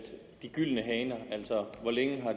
de gyldne haner altså om hvor længe